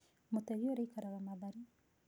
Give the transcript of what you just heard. Mũtegi ũrĩa aikaraga Mathari.